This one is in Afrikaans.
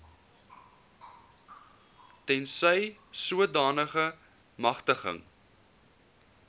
tensy sodanige magtiging